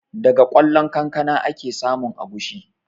Daga ƙwallon kankana ake samun agushi